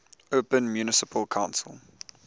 open municipal council